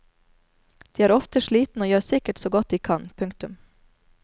De er ofte slitne og gjør sikkert så godt de kan. punktum